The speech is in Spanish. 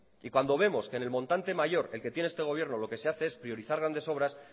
y cuando vemos que en el montante mayor el que tiene este gobierno lo que se hace es priorizar grandes obras